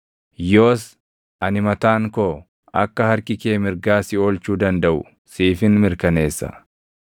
Yoos ani mataan koo, akka harki kee mirgaa si oolchuu dandaʼu siifin mirkaneessa.